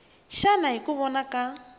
xana hi ku vona ka